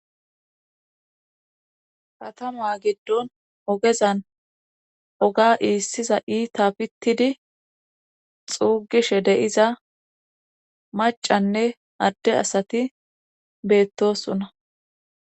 katama giddon ogezan oga iissiza iita pittidi xuugishe deyiza macanne adde asati beettosonna